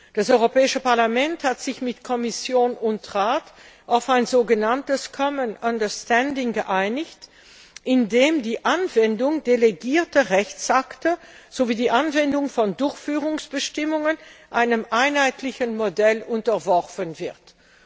Das Europäische Parlament hat sich mit Kommission und Rat auf ein sogenanntes common understanding geeinigt, indem die Anwendung delegierter Rechtsakte sowie die Anwendung von Durchführungsbestimmungen einem einheitlichen Modell unterworfen werden.